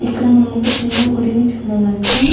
ఇక్కడ మనము ఒక చిన్న గుడి ని చూడవచ్చు.